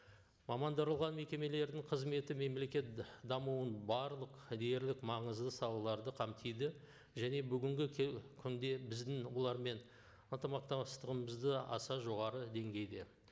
мамандырылған мекемелердің қызметі мемлекет дамуын барлық дерлік маңызды салаларды қамтиді және бүгінгі күнде біздің олармен ынтымақтастығымыз да аса жоғары деңгейде